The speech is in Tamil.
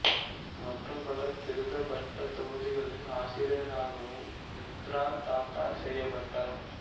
மற்றும் பல திருத்தப்பட்ட தொகுதிகளின் ஆசிரியராகவும் மித்ரா தத்தா செயற்பட்டார்